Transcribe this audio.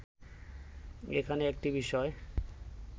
এখানে একটি বিষয়